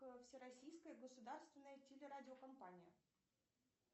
всероссийская государственная телерадиокомпания